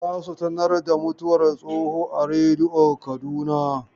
Za su sanar da mutuwar Tsoho a rediyo Kaduna.